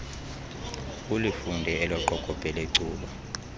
ulifunde elaqokobhe lecuba